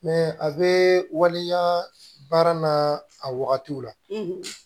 a bɛ waleya baara n'a wagatiw la